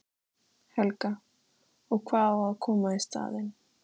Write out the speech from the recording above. Helga: Og hvað á að koma í staðinn?